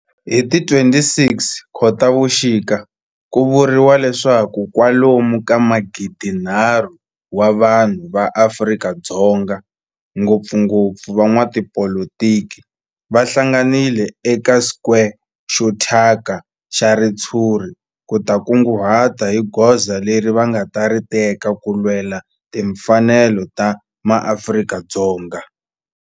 Hi ti 26 Khotavuxika ku vuriwa leswaku kwalomu ka magidinharhu wa vanhu va Afrika-Dzonga, ngopfungopfu van'watipolitiki va hlanganile eka square xo thyaka xa ritshuri ku ta kunguhata hi goza leri va nga ta ri teka ku lwela timfanelo ta maAfrika-Dzonga.